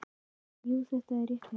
Jú, þetta er rétt hjá þér.